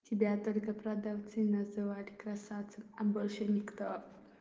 тебя только продавцы называли красавцем а больше никто